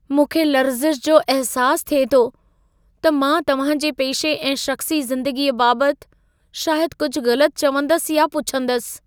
मूंखे लर्ज़िश जो अहसासु थिए थो त मां तव्हां जे पेशे ऐं शख़्सी ज़िंदगीअ बाबति शायदि कुझु गलति चवंदसि या पुछंदसि।